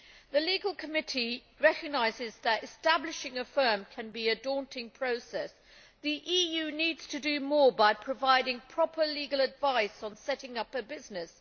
The Committee on Legal Affairs recognises that establishing a firm can be a daunting process. The EU needs to do more by providing proper legal advice on setting up a business.